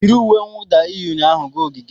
yi uwe mwụda ị yi ụnyaahụ gaa ogige!